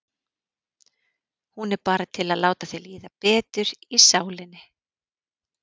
Hún er bara til að láta þér líða betur í sálinni.